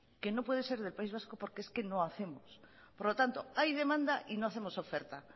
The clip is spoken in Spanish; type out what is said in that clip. que no puede ser del país vasco porque es que no hacemos por lo tanto hay demanda y no hacemos oferta